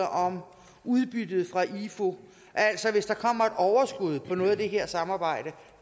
om udbyttet fra ifu hvis der kommer et overskud fra noget af det her samarbejde